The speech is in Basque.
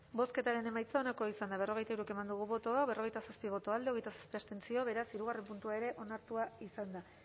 bozketaren emaitza onako izan da berrogeita hiru eman dugu bozka berrogeita zazpi boto alde hogeita zortzi abstentzio beraz hirugarren puntua ere onartua izan da